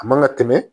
A man ka tɛmɛ